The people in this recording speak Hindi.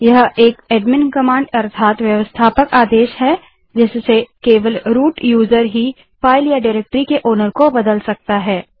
यह एक एडमिन कमांड है जिससे केवल रूट यूजर फाइल या डाइरेक्टरी के मालिक को बदल सकता है